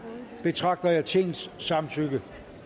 betragter jeg tingets samtykke